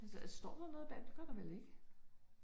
Altså står der noget bagpå, det gør der vel ikke